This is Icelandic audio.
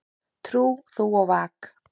Trú þú og vak.